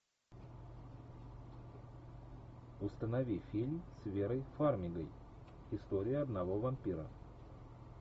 установи фильм с верой фармигой история одного вампира